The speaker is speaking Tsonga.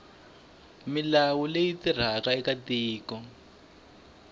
milawu leyi tirhaka eka tiko